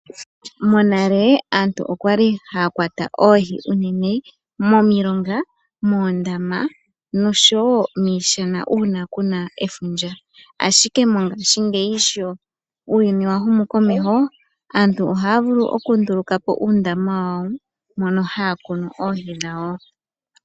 Monale aantu okwa li haya kwata oohi unene momulonga, moondama, noshowo miishana uuna ku na efundja. Ashike mongaashingeyi sho uuyuni wa humu komeho, aantu ohaya nduluka po uundama wayo mono haya kunu oohi dhawo.